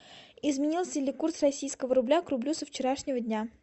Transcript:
изменился ли курс российского рубля к рублю со вчерашнего дня